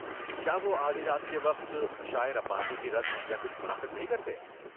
کیا وہ آدھی رات کے وقت عشاء ربانی کی رسم یا کچھ منعقد نہیں کرتے؟